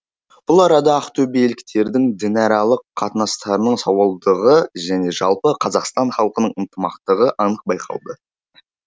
бұл арада ақтөбеліктердің дінаралық қатынастарының сауалдығы және жалпы қазақстан халқының ынтымақтығы анық байқалды